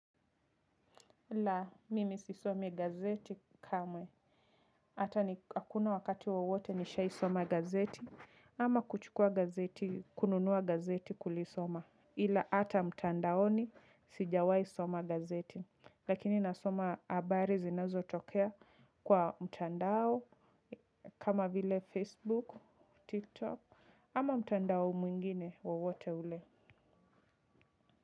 Ila mimi sisomi gazeti kamwe. Hata hakuna wakati wowote nishai soma gazeti. Ama kuchukua gazeti, kununua gazeti kulisoma. Ila hata mtandaoni sijawai soma gazeti. Lakini nasoma habari zinazotokea kwa mtandao kama vile Facebook, Tiktok ama mtandao mwingine wowote ule.